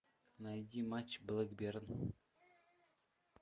найди матч блэкберн